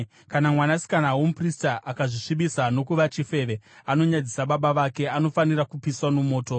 “ ‘Kana mwanasikana womuprista akazvisvibisa nokuva chifeve, anonyadzisa baba vake; anofanira kupiswa mumoto.